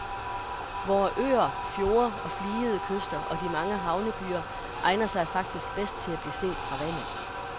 Vore øer, fjorde og fligede kyster og de mange havnebyer egner sig faktisk bedst til at blive set fra vandet.